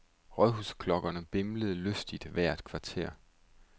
Rådhusklokkerne bimlede lystigt hvert kvarter.